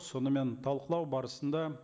сонымен талқылау барысында